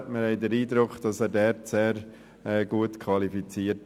Wir haben den Eindruck, er sei hierfür sehr gut qualifiziert.